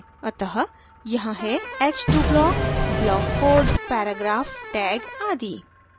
अत: यहाँ है h2 block block code paragraph tag आदि